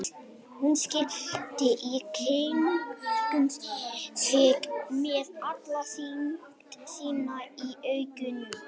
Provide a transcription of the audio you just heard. Hún skimar í kringum sig með alla þyngd sína í augunum.